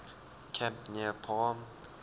camp near palm